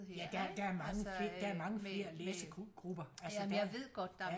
Ja der er mange der er mange flere læsegrupper altså der